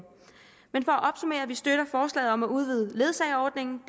at opsummere vi støtter forslaget om at udvide ledsageordningen